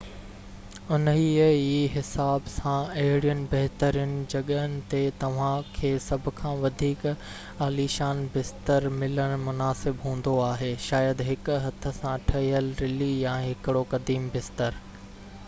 انهي ئي حساب سان اهڙين بهترين جڳهن تي توهان کي سڀ کان وڌيڪ عاليشان بستر ملڻ مناسب هوندو آهي شايد هڪ هٿ سان ٺهيل رلي يا هڪڙو قديم بستر